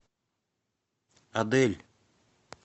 адель